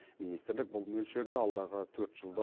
министрлік бұл мөлшерді алдағы төрт жылда